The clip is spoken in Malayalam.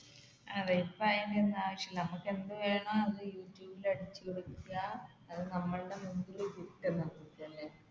അതെ ഇപ്പൊ അതിന്റെ ഒന്നും ആവശ്യമില്ല നമുക്ക് എന്ത് വേണോ